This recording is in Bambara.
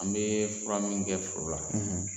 An bɛ fura min kɛ foro la.